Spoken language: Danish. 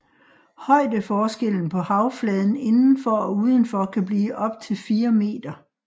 Højdeforskellen på havfladen indenfor og udenfor kan blive optil 4 meter